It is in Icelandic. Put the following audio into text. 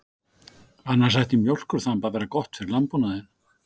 Annars ætti mjólkurþamb að vera gott fyrir landbúnaðinn.